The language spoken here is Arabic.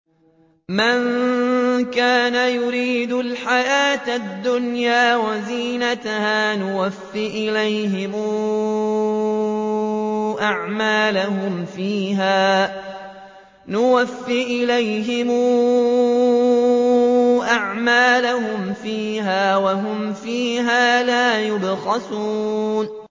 مَن كَانَ يُرِيدُ الْحَيَاةَ الدُّنْيَا وَزِينَتَهَا نُوَفِّ إِلَيْهِمْ أَعْمَالَهُمْ فِيهَا وَهُمْ فِيهَا لَا يُبْخَسُونَ